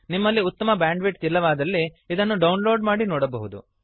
ನೀವು ಉತ್ತಮವಾದ ಬ್ಯಾಂಡ್ವಿಡ್ತ್ ಅನ್ನು ಹೊಂದಿಲ್ಲದಿದ್ದರೆ ಡೌನ್ಲೋಡ್ ಮಾಡಿ ನೋಡಬಹುದು